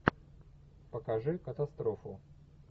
покажи катастрофу